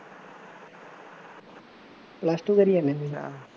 plus two ਕਰੀ ਜਾਂਦਾ